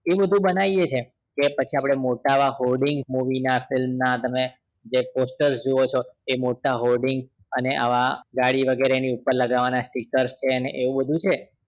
એ બધું બનાવીએ છે કે પછી આપડે મોટા એવા holding movie ના film ના તમે જે poster જોવો છો એ મોટા holdings અને આવા ગાડી વગરે ની ઉપર લગાવવા નાં sticker છે ને એવું બધું છે